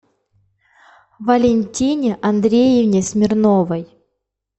валентине андреевне смирновой